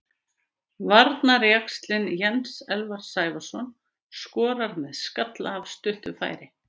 Varnarjaxlinn Jens Elvar Sævarsson skorar með skalla af stuttu færi.